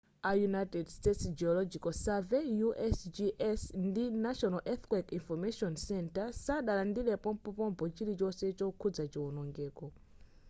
a united states geological survey usgs ndi national earthquake information center sadalandire pompopompo chilichonse chokhudza chionongeko